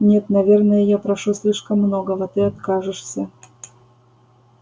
нет наверное я прошу слишком многого ты откажешься